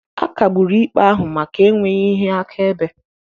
A kagburu ikpe ahụ maka enweghị ihe akaebe.